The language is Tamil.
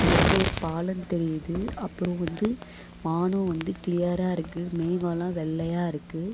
இங்க வந்து ஒரு பாலந்தெரியிது அப்றோ வந்து வானோ வந்து கிளியரா இருக்கு மேவோல்லா வெள்ளையா இருக்கு.